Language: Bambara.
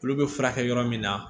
Olu bɛ furakɛ yɔrɔ min na